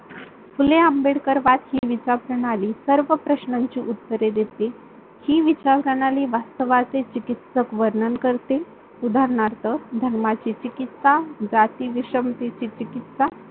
फुले आंबेडकरवाद हि विचार प्रणाली सर्व प्रश्नाची उत्तरे देते हि विचार प्रणाली वास्तवातील चिकित्सक वर्णन करते, उदारणार्थ धर्माची चिकित्सा, जाती विषमती चिकित्सा.